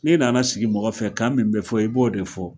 Ne nana sigi mɔgɔ fɛ kan min bɛ fɔ i b'o de fɔ.